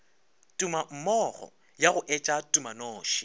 tumammogo ya go etša tumanoši